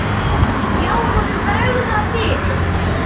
Sjá honum bregða fyrir!